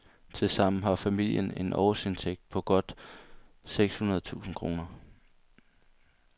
Tilsammen har familien en årsindtægt på godt seks hundrede tusind kroner.